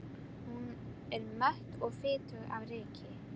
Hún er mött og fitug af ryki.